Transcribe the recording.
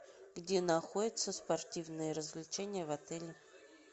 где находятся спортивные развлечения в отеле